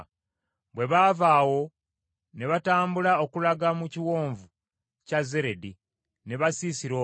Bwe baava awo, ne batambula okulaga mu kiwonvu kya Zeredi, ne basiisira omwo.